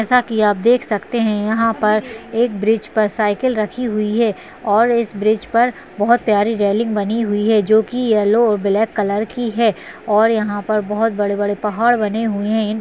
जैसा कि आप देख सकते हैं यहां पर एक ब्रिज पर साइकिल रखी हुई है और इस ब्रिज पर बहौत प्यारी रेलिंग बनी हुई है जो कि येल्लो और ब्लैक कलर की है और यहां पर बहौत बड़े-बड़े पहाड़ बने हुए हैं इन --